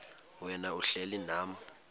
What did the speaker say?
wena uhlel unam